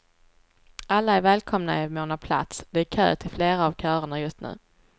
Alla är välkomna i mån av plats, det är kö till flera av körerna just nu.